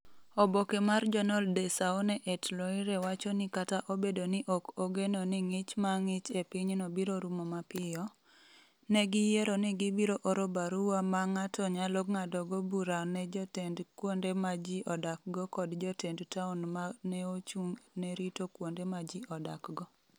Oboke mar Journal de Saone-et-Loire wacho ni kata obedo ni ok ogeno ni ng’ich ma ng’ich e pinyno biro rumo mapiyo, ne giyiero ni gibiro oro barua ma ng’ato nyalo ng’adogo bura ne jotend kuonde ma ji odakgo kod jotend taon ma ne ochung’ ne rito kuonde ma ji odakgo.